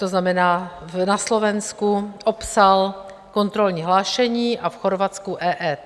To znamená, na Slovensku opsal kontrolní hlášení a v Chorvatsku EET.